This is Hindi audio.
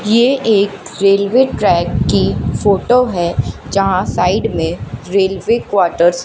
ये एक रेलवे ट्रैक की फोटो है जहां साइड में रेलवे क्वार्टर्स --